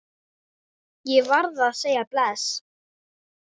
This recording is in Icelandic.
Ég varð að segja bless.